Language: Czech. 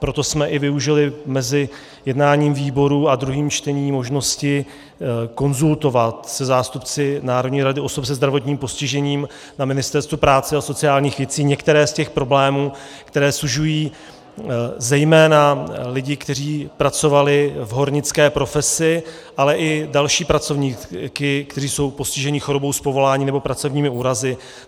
Proto jsme i využili mezi jednáním výborů a druhým čtením možnosti konzultovat se zástupci Národní rady osob se zdravotním postižením na Ministerstvu práce a sociálních věcí některé z těch problémů, které sužují zejména lidi, kteří pracovali v hornické profesi, ale i další pracovníky, kteří jsou postiženi chorobou z povolání nebo pracovními úrazy.